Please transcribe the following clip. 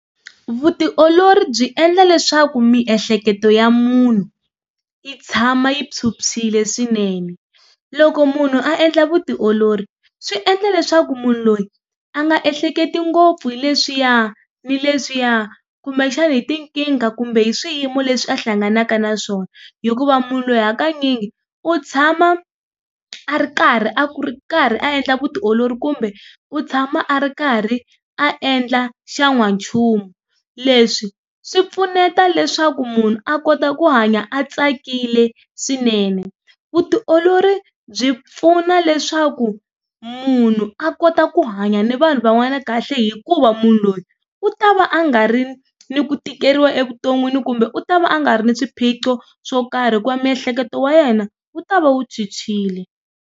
Vutiolori byi endla leswaku miehleketo ya munhu, yi tshama yi phyuphyile swinene. Loko munhu a endla vutiolori swi endla leswaku munhu loyi a nga ehleketi ngopfu hi leswiya ni leswiya, kumbexana hi tinkingha kumbe hi swiyimo leswi a hlanganaka na swona. Hikuva munhu loyi hakanyingi u tshama a ri karhi a ku ri karhi a endla vutiolori kumbe u tshama a ri karhi a endla xa n'wanchumu. Leswi swi pfuneta leswaku munhu a kota ku hanya a tsakile swinene. Vutiolori byi pfuna leswaku munhu a kota ku hanya ni vanhu van'wana kahle, hikuva munhu loyi u ta va a nga ri ni ku tikeriwa evuton'wini kumbe u ta va a nga ri na swiphiqo swo karhi hikuva miehleketo ya yena wu ta va wu phyuphyile.